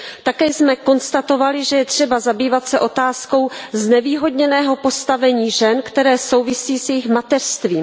Také jsme konstatovali, že je třeba zabývat se otázkou znevýhodněného postavení žen, které souvisí s jejich mateřstvím.